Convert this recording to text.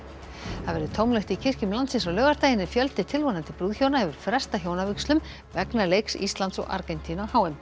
það verður tómlegt í kirkjum landsins á laugardaginn en fjöldi tilvonandi brúðhjóna hefur frestað hjónavígslum vegna leiks Íslands og Argentínu á h m